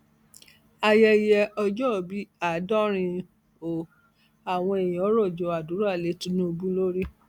ayẹyẹ ọjọòbí àádọrin o àwọn èèyàn rọjò àdúrà lé tinubu lórí